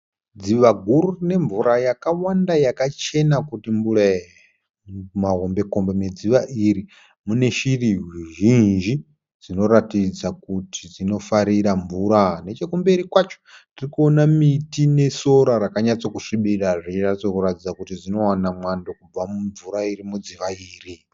Dziva guru rine mvura yakawanda yakachena kuti mbure-e. Mumahombekombe medziva iri muneshiri zhinji dzinoratidza kuti dzinofarira mvura. Nechokumberi kwacho tirikuona miti nesora rakanyatsokusvibira zvonyatsokuratidza kuti zvinowana mvura kubva mudziva iri.